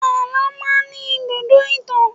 Àlọ́ máa ń ní ibùdó ìtàn.